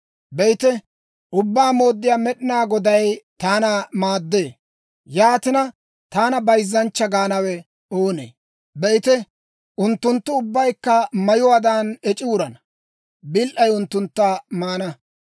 Be'ite, Ubbaa Mooddiyaa Med'inaa Goday taana maaddee; yaatina, taana bayzzanchcha gaanawe oonee? Be'ite, unttunttu ubbaykka mayuwaadan ec'i wurana; bil"ay unttuntta maana.